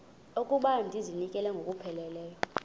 okokuba ndizinikele ngokupheleleyo